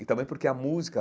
E também porque a música,